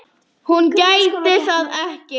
Hún gæti það ekki.